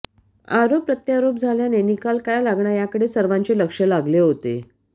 आरोप प्रत्यारोप झाल्याने निकाल काय लागणार याकडे सर्वांचे लक्ष लागले होते